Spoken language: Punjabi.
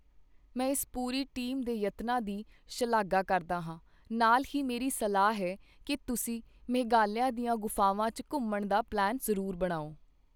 ਮੈਂ ਇਸ ਪੂਰੀ ਟੀਮ ਦੇ ਯਤਨਾਂ ਦੀ ਸ਼ਲਾਘਾ ਕਰਦਾ ਹਾਂ, ਨਾਲ ਹੀ ਮੇਰੀ ਸਲਾਹ ਵੀ ਹੈ ਕਿ ਤੁਸੀਂ ਮੇਘਾਲਿਆ ਦੀਆਂ ਗੁਫਾਵਾਂ ਚ ਘੁੰਮਣ ਦਾ ਪਲੈਨ ਜ਼ਰੂਰ ਬਣਾਓ।